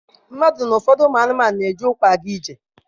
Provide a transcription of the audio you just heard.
Mmadụ na ụfọdụ ụmụ anụmanụ na-eji ụkwụ aga ije.